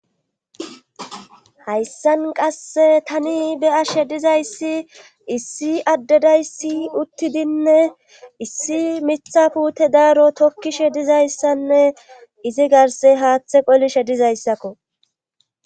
hayssan qasse tani be ashe dizayssi issi addedayssi uttidinne issi mitha pute daaro tokkishe dizayssanne izi garse haaththe qolishe dizayssakko